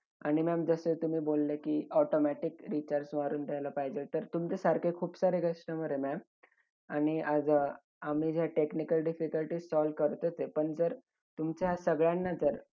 आणि ma'am जसे तुम्ही बोलले की automatic recharge मारून द्यायला पाहिजे. तर तुमच्यासारखे खूप सारे customer आहे ma'am. आणि आज अं आम्ही ज्या technical difficulties solve करतोच आहे. पण जर तुमच्या सगळ्यांना जर